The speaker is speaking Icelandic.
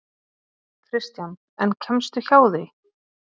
Kristján: En kemstu hjá því?